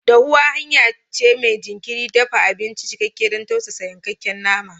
Dahuwa hanya ce mai jinkirin dafa abinci, cikakke don tausasa yankakken nama.